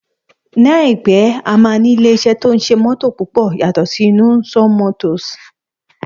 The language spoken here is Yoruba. Ní àìpé, a máa ní ilé iṣẹ́ tí ó ń ṣe mótò púpọ̀ yàtọ̀ sí Innoson motors